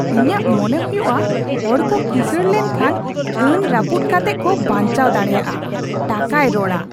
ᱤᱧᱟᱹᱜ ᱢᱚᱱᱮ ᱦᱩᱭᱩᱜᱼᱟ , ᱦᱚᱲ ᱠᱚ ᱠᱤᱥᱟᱹᱬ ᱞᱮᱱᱠᱷᱟᱱ ᱟᱹᱱ ᱨᱟᱹᱯᱩᱫ ᱠᱟᱛᱮᱜ ᱠᱚ ᱵᱟᱧᱪᱟᱣ ᱫᱟᱲᱮᱭᱟᱜᱼᱟ ᱾ ᱴᱟᱠᱟᱭ ᱨᱚᱲᱟ! (ᱦᱚᱲ ᱒)